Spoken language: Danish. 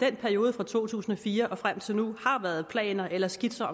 i perioden fra to tusind og fire og frem til nu har været lavet planer eller skitser